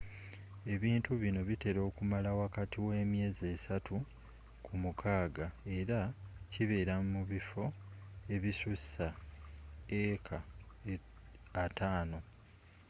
ebintu bino bitera okumala wakati we myeezi esaatu ku mukaaga era zibeera mu bifo ebissussa eeka ataano 50